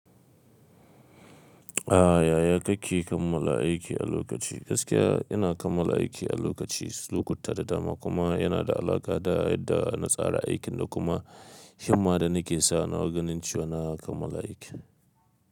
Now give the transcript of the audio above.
Ah yaya kake kammala aiki a lokaci? Gaskiya ina kammala aiki a lokaci, lokuta da dama kuma yana da alaƙa da yadda na tsara aikin da kuma himma da nake sanya wa ganin cewa na kammala aikin.